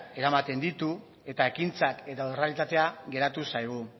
eramaten ditu eta ekintzak eta errealitatea geratu zaigu